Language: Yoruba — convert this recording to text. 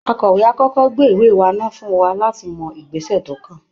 Akọ̀wé á kọ́kọ́ gbé ìwé wá ná fún wa láti mọ ìgbésẹ̀ tó kàn